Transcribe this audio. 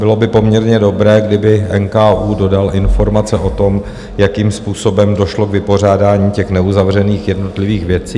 Bylo by poměrně dobré, kdyby NKÚ dodal informace o tom, jakým způsobem došlo k vypořádání těch neuzavřených jednotlivých věcí.